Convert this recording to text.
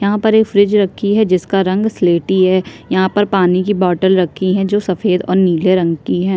यहाँ पर एक फ्रिज रखी है जिसका रंग सिलेटी है यहाँ पर पानी की बोटल रखी है जो सफ़ेद और नीले रंग की है।